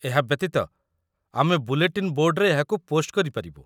ଏହା ବ୍ୟତୀତ, ଆମେ ବୁଲେଟିନ୍ ବୋର୍ଡରେ ଏହାକୁ ପୋଷ୍ଟ କରିପାରିବୁ